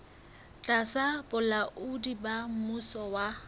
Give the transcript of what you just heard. tlasa bolaodi ba mmuso wa